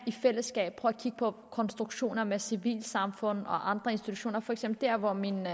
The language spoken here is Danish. i fællesskab kan kigge på konstruktioner med civilsamfund og andre institutioner for eksempel der hvor mit